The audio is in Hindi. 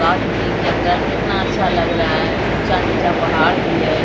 गाछ-वृक्ष जंगल कितना अच्छा लग रहा है ऊँचा-निचा पहाड़ भी है।